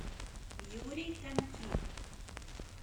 юрий тонких